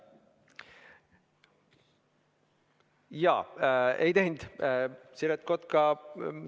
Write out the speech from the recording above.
Ei, Siret Kotka ei teinud seda ettepanekut.